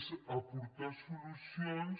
és aportar solucions